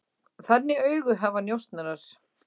Þannig augu hafa njósnarar.